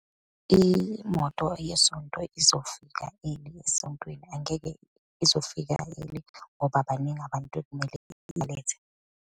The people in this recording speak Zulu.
Imoto yesonto izofika early esontweni, angeke izofika early ngoba baningi abantu ekumele ilethe.